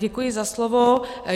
Děkuji za slovo.